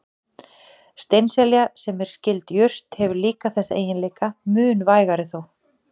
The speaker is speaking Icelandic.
Steinselja, sem er skyld jurt, hefur líka þessa eiginleika, mun vægari þó.